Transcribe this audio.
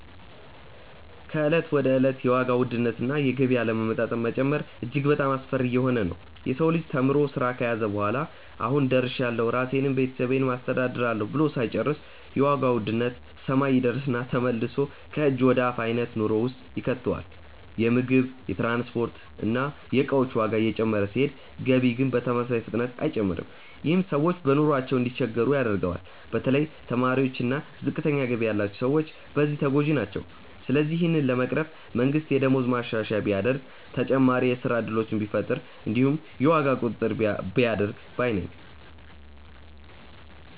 ከእለት ወደ እለት የዋጋ ውድነት እና የገቢ አለመመጣጠን መጨመሩ እጅግ በጣሞ አስፈሪ እየሆነ ነዉ። የሰው ልጅ ተምሮ ስራ ከያዘ በኋላ "አሁን ደርሻለሁ ራሴንም ቤተሰቤንም አስተዳድራለሁ" ብሎ ሳይጨርስ የዋጋ ውድነት ሰማይ ይደርስና ተመልሶ ከእጅ ወደ አፍ አይነት ኑሮ ውስጥ ይከተዋል። የምግብ፣ የትራንስፖርት እና የእቃዎች ዋጋ እየጨመረ ሲሄድ ገቢ ግን በተመሳሳይ ፍጥነት አይጨምርም። ይህም ሰዎች በኑሯቸው እንዲቸገሩ ያደርገዋል። በተለይ ተማሪዎች እና ዝቅተኛ ገቢ ያላቸው ሰዎች በዚህ ተጎጂ ናቸው። ስለዚህ ይህንን ለመቅረፍ መንግስት የደሞዝ ማሻሻያ ቢያደርግ፣ ተጨማሪ የስራ እድሎችን ቢፈጥር እንዲሁም የዋጋ ቁጥጥር ቢያደርግ ባይ ነኝ።